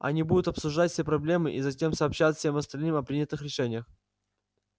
они будут обсуждать все проблемы и затем сообщать всем остальным о принятых решениях